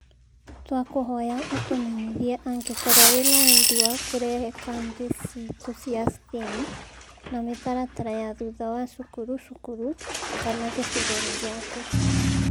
Twakũhoya ũtũmenyithie angĩkorwo wĩ na wendi wa kũrehe kambĩ ciitũ cia STEAM kana mĩtaratara ya thutha wa cukuru cukuru kana gĩcigo-inĩ gĩaku